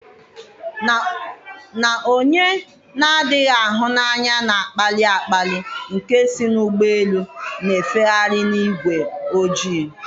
na onye na-adịghị ahụ n'anya na-akpali akpali nke isi n'ụgbọelu, na-efegharị n'ígwé ojii?